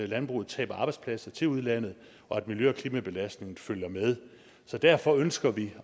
landbruget taber arbejdspladser til udlandet og at miljø og klimabelastningen følger med så derfor ønsker vi